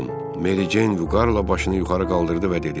Meri Ceyn vüqarla başını yuxarı qaldırdı və dedi: